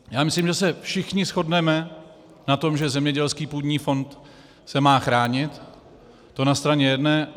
Já myslím, že se všichni shodneme na tom, že zemědělský půdní fond se má chránit, to na straně jedné.